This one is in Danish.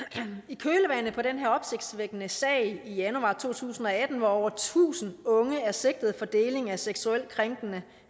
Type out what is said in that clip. i kølvandet på den her opsigtsvækkende sag i januar to tusind og atten hvor over tusind unge er blevet sigtet for deling af seksuelt krænkende